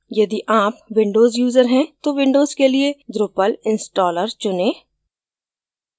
यदि आप windows user हैं तो windows के लिए drupal installer चुनें